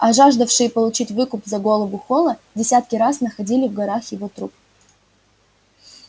а жаждавшие получить выкуп за голову холла десятки раз находили в горах его труп